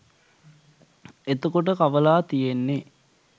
එතකොට කවලා තියෙන්නේ